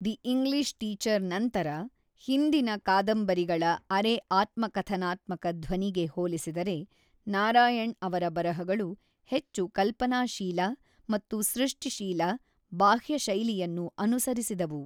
‘The English teacher’ ನಂತರ, ಹಿಂದಿನ ಕಾದಂಬರಿಗಳ ಅರೆ-ಆತ್ಮಕಥನಾತ್ಮಕ ಧ್ವನಿಗೆ ಹೋಲಿಸಿದರೆ ನಾರಾಯಣ್ ಅವರ ಬರಹಗಳು ಹೆಚ್ಚು ಕಲ್ಪನಾಶೀಲ ಮತ್ತು ಸೃಷ್ಟಿಶೀಲ ಬಾಹ್ಯ ಶೈಲಿಯನ್ನು ಅನುಸರಿಸಿದವು.